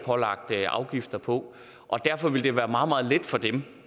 er lagt afgifter på og derfor ville det være meget meget let for dem